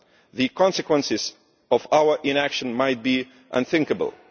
The consequences of our inaction might be unthinkable.